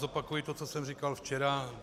Zopakuji to, co jsem říkal včera.